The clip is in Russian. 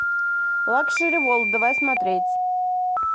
лакшери ворлд давай смотреть